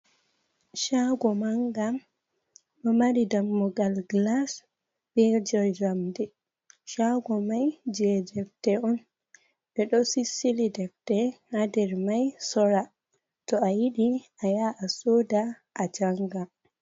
Shago manga ɗo mari dammugal glas ɓe je njamdi. Shago mai je defte on ɓe ɗo sisili defte ha nder mai sora, to a yidi a yaha a soda a janga.